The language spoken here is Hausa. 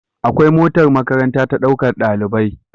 Akwai motar makaranta ta ɗaukar ɗalibai